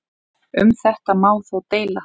Um þetta má þó deila.